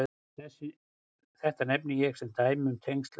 Þetta nefni ég sem dæmi um tengsl söguþráðar í leik og veruleik.